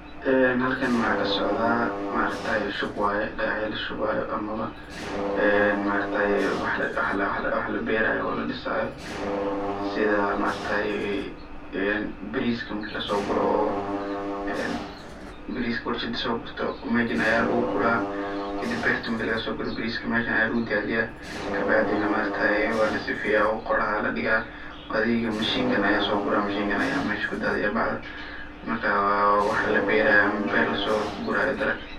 En halkan waxa kasocda maarkataye shub waye aya lashubayo ama en maarakte wax laberayo oo ladisayo sida maaraktaye bariska marki lasoguro en bariska marka lasogurto oo mesha aya lagugura kadib berta marka lagasoguro bariski mesha aya lagudadiya kabacdi naha aya lasifeya qoraxda aya ladiga mishinkan aya sogura aya mesha kudadiya , bacdan marka wa wax paberayo ama beer lasogurayo dalaqa.